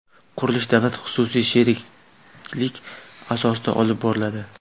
Qurilish davlat-xususiy sheriklik asosida olib boriladi.